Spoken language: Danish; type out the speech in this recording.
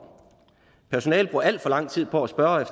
personalet bruger al for lang tid på at spørge